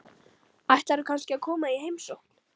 Ætlarðu kannski að koma í heimsókn?